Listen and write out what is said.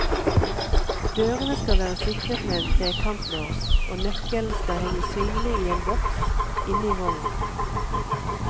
Dørene skal være sikret med en trekantlås, og nøkkelen skal henge synlig i en boks inne i vognen.